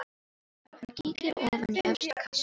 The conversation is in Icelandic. Hann kíkir ofan í efsta kassann.